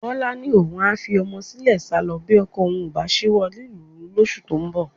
Bọ́lá ni òun a fi ọmọ sílẹ̀ sálọ bí ọkọ òun kò bá ṣíwọ́ lílù ú lóṣù tó ń bọ̀